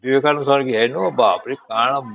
ବିବେକାନନ୍ଦ ସ୍ମାରକ କେ ଏଣୁ ବାପରେ କଣ